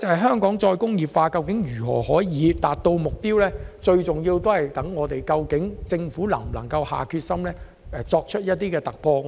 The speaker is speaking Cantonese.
香港能否達成再工業化的目標，最重要視乎政府能否下定決心，作出突破。